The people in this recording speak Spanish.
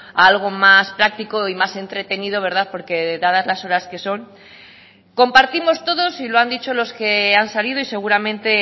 a algo más práctico y más entretenido porque dadas las horas que son compartimos todos y lo han dicho los que han salido y seguramente